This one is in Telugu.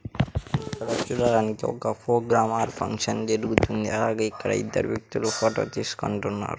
ఇక్కడ చూడడానికి ఒక ఫోక్ డ్రామా ఆర్ ఫంక్షన్ జరుగుతుంది అలాగే ఇక్కడ ఇద్దరు వ్యక్తులు ఫోటో తీసుకుంటున్నారు.